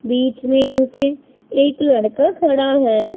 बीच में उनके एक लड़का खड़ा है।